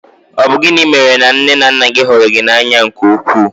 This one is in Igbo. Ọ bụ gịnị mèrè na nné na nnà gị hụrụ gị n'anya nke ukwuu?